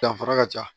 Danfara ka ca